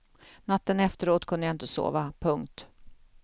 Natten efteråt kunde jag inte sova. punkt